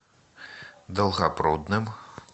долгопрудным